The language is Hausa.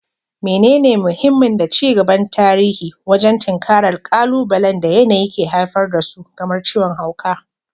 Menene mahimmin da ci gaban tarihi wajen tinkarar ƙalubalen da yanayi ke haifar da su kamar ciwon hauka?